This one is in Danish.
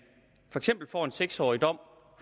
for en seks årig dom